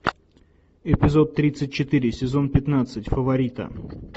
эпизод тридцать четыре сезон пятнадцать фаворита